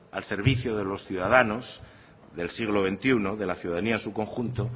al servicio de los ciudadanos del siglo veintiuno de la ciudadanía en su conjunto